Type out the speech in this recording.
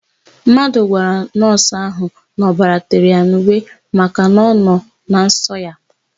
Mmadụ gwara nọọsụ ahụ na ọbara tere ya n'uwe makana ọ nọ na nsọ ya.